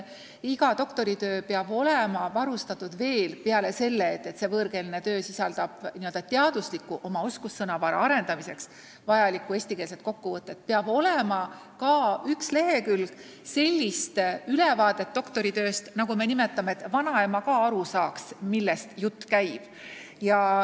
Iga võõrkeelne doktoritöö peab sisaldama teadusliku oskussõnavara arendamiseks vajalikku eestikeelset kokkuvõtet, aga lisaks peab selles olema üks lehekülg sellises keeles ülevaadet doktoritööst, et vanaema ka aru saaks, millest jutt käib.